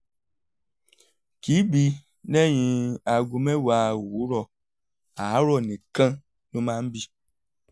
kì í bì lẹ́yìn aago mẹ́wàá òwúrọ̀ àárọ̀ nìkan ló máa ń bì